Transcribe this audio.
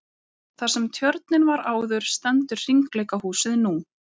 Þar sem tjörnin var áður stendur hringleikahúsið nú.